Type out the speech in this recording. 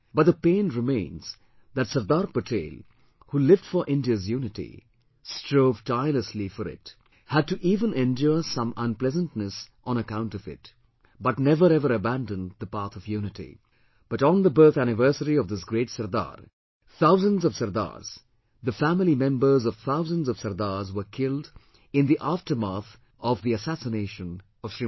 But the pain remains that Sardar Patel, who lived for India's unity, strove tirelessly for it, had to even endure some unpleasantness on account of it, but never ever abandoned the path of unity; but on the birth anniversary of this great SARDAR, thousands of Sardars, the family members of thousands of Sardars were killed in the aftermath of the assassination of Smt